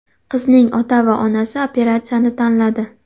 Qizning ota va onasi operatsiyani tanladi.